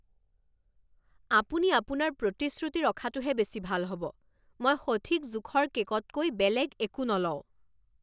আপুনি আপোনাৰ প্ৰতিশ্ৰুতি ৰখাটোহে বেছি ভাল হ'ব। মই সঠিক জোখৰ কে'কতকৈ বেলেগ একো নলওঁ।